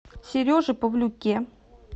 сереже павлюке